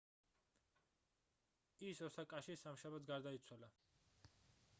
ის ოსაკაში სამშაბათს გარდაიცვალა